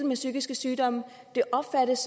med psykiske sygdomme og det opfattes